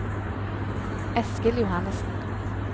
Eskil Johannesen